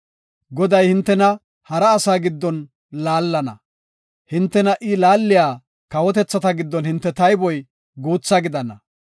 Goday hintena hara asaa giddon laallana; hintena I laaliya kawotethata giddon hinte tayboy guutha gidana.